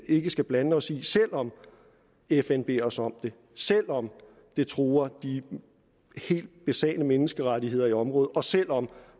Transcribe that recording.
ikke skal blande os i selv om fn beder os om det selv om det truer de helt basale menneskerettigheder i området og selv om